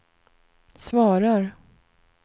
svarar